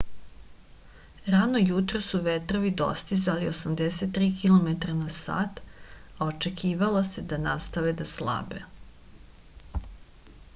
rano jutros su vetrovi dostizali 83 km/h a očekivalo se da nastave da slabe